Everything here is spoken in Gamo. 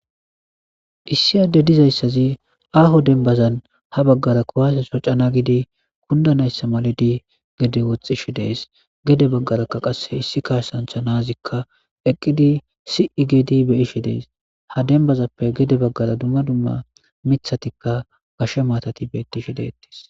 issi adde dizayssazi aaho denbazan ha baggara kowaase so cana gidi kundanayssa maladi gedi woxxishi dees gede baggarakka qas issi kaashsantha naazikka eqqidi si7i gedi beyishi dees ha denbazappe gede baggara dumma dumma mithatikka gashe maatati beettishi deettis